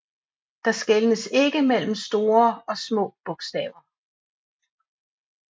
Der skelnes ikke mellem store og små bogstaver